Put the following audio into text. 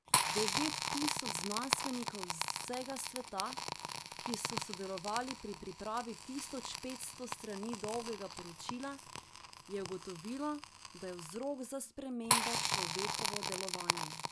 Devet tisoč znanstvenikov z vsega sveta, ki so sodelovali pri pripravi tisoč petsto strani dolgega poročila, je ugotovilo, da je vzrok za spremembe človekovo delovanje.